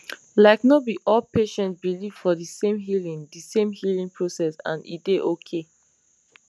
like no be all patients believe for de same healing de same healing process and e dey okay